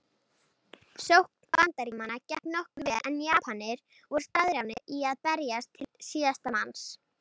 Sókn Bandaríkjamanna gekk nokkuð vel en Japanir voru staðráðnir í að berjast til síðasta manns.